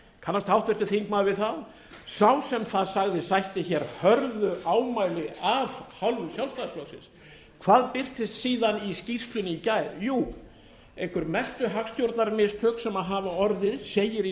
kannast háttvirtur þingmaður við það sá sem það sagði sætti hörðu ámæli af hálfu sjálfstæðisflokksins hvað birtist síðan í skýrslunni í gær jú einhver mestu hagstjórnarmistök sem hafa orðið segir í